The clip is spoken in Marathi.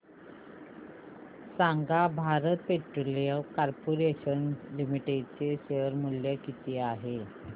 सांगा भारत पेट्रोलियम कॉर्पोरेशन लिमिटेड चे शेअर मूल्य किती आहे